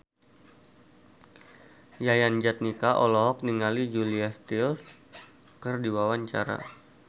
Yayan Jatnika olohok ningali Julia Stiles keur diwawancara